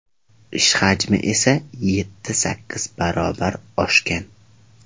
Ish hajmi esa yetti-sakkiz barobar oshgan.